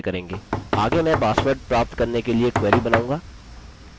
आगे मैं पासवर्ड प्राप्त करने के लिए क्वेरी बनाऊँगा